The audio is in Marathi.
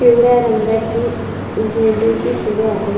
पिवळ्या रंगाची झेंडूची फूले आहे.